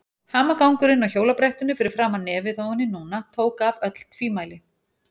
Hamagangurinn á hjólabrettinu fyrir framan nefið á henni núna tók af öll tvímæli.